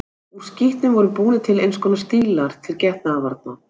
Úr skítnum voru búnir til eins konar stílar til getnaðarvarna.